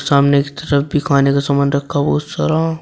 सामने की तरफ भी खाने का सामान रखा बहुत सारा।